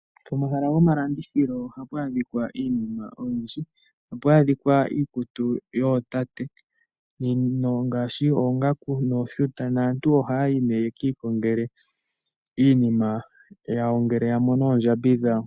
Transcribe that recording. Pomahala gomalandithilo ohapu adhikwa iinima oyindji. Ohapu adhikwa iikutu yootate ngaashi, oongangu nooshuta, naantu ohayayi ne yekiikongele iinima yawo ngele yamono oondjambi dhawo.